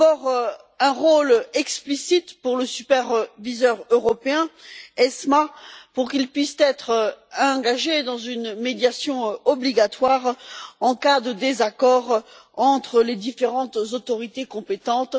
D'abord, un rôle explicite pour le superviseur européen AEMF afin qu'il puisse être engagé dans une médiation obligatoire en cas de désaccord entre les différentes autorités compétentes.